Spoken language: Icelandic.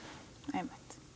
einmitt